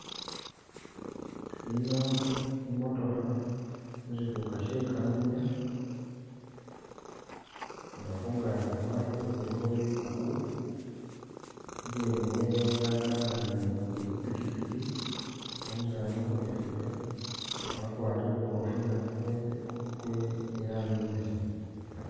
Ino i'motokha musikuka she kamunye nga khungaaki khwayo khulikho bikuku, ibweni wewe yakanane ni pikipiki nga umusani khukhojinvuka wakwarile kukofila kwembe kwe iranji imbesemu